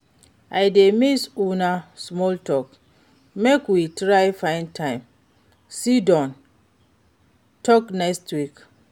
I dey miss una small talk, make we try find time sidon talk nextweek.